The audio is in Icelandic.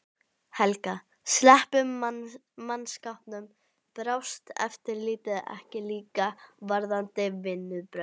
Helga: Sleppum mannskapnum. brást eftirlitið ekki líka varðandi vinnubrögð?